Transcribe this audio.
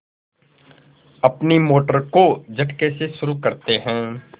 अपनी मोटर को झटके से शुरू करते हैं